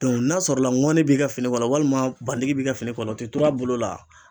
Dɔnku n'a sɔrɔla ŋɔni b'i ka fini kɔnɔ walima bandigi b'i ka fini kɔ la o te tur' a bolo la